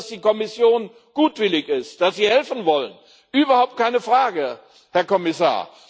Wir wissen, dass die Kommission gutwillig ist, dass Sie helfen wollen überhaupt keine Frage, Herr Kommissar.